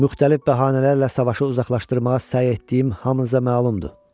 Müxtəlif bəhanələrlə savaşı uzaqlaşdırmağa səy etdiyim hamınıza məlumdur.